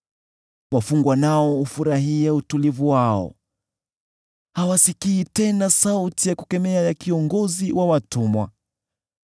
Wafungwa nao hufurahia utulivu wao, hawasikii tena sauti ya kukemea ya kiongozi wa watumwa.